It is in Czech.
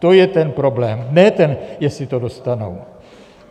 To je ten problém, ne ten, jestli to dostanou.